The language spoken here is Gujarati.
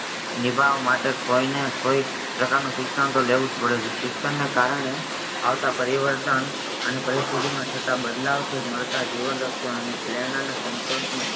નિભાવ માં માટે કોઈને કોઈ કોઈ પેરકાર નો શિક્ષણ જ લેવું પડે છે શિક્ષણ ને કારણે આવતા પરિવર્તન અને પરીસ્તીથી માં થતા બદલાવ થી મળતા જીવનરક્ષણ અને પ્રેરણાના સંતોષ ને